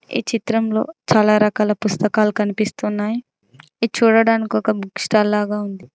ఈ చిత్రంలో చాలా రకాల పుస్తకాలు కనిపిస్తున్నాయ్ ఇద్ చూడడానికి ఒక బుక్ స్టాల్ లాగా ఉంది.